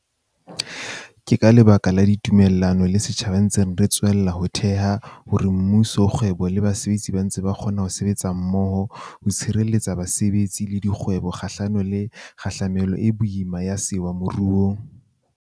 Ke ka lebaka la ditumellano le setjhaba re ntse re tswella ho theha hore mmuso, kgwebo le basetsi ba ntse ba kgona ho sebetsa mmoho ho tshireletsa basebetsi le dikgwebo kgahlano le kgahlamelo e boima ya sewa moruong.